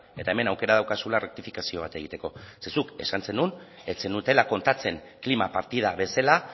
eta hemen aukera daukazula errektifikazio bat egiteko ze zuk esan zenuen ez zenutela kontatzen klima partida bezala